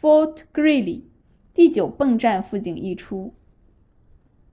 fort greely 第9泵站附近溢出